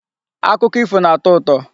Akụkọ ifo na-atọ ụtọ.